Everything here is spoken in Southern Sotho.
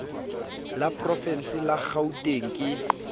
la porovense la kgauteng ke